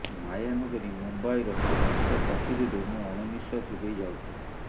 ମାୟା ନଗରୀ ମୁମ୍ବାଇର ପ୍ରତିଷ୍ଠା ଚାକିରିରେ ମୁଁ ଅଣନିଃଶ୍ୱାସୀ ହୋଇ ଯାଉଥାଏ